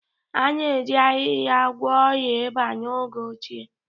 A na-eji ahịhịa gwọọ ọrịa ịba n'oge ochie